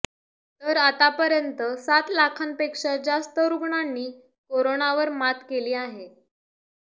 तर आतापर्यंत सात लाखांपेक्षा जास्त रुग्णांनी करोनावर मात केली आहे